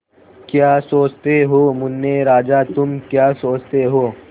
क्या सोचते हो मुन्ने राजा तुम क्या सोचते हो